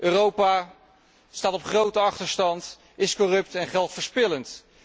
Europa staat op grote achterstand, is corrupt en geldverspillend.